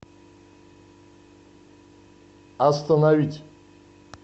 остановить